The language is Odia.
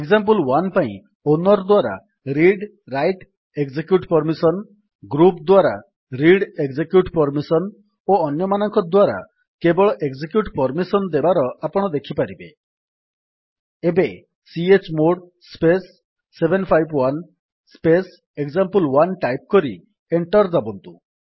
ଏକ୍ସାମ୍ପଲ1 ପାଇଁ ଓନର୍ ଦ୍ୱାରା ରିଡ୍ରାଇଟ୍ଏକଜେକ୍ୟୁଟ୍ ପର୍ମିସନ୍ ଗ୍ରୁପ୍ ଦ୍ୱାରା ରିଡ୍ଏକଜେକ୍ୟୁଟ୍ ପର୍ମିସନ୍ ଓ ଅନ୍ୟମାନଙ୍କ ଦ୍ୱାରା କେବଳ ଏକଜେକ୍ୟୁଟ୍ ପର୍ମିସନ୍ ଦେବାର ଆପଣ ଦେଖିପାରିବେ ଏବେ chmod space 751 space example one type କରି ଏଣ୍ଟର୍ ଦାବନ୍ତୁ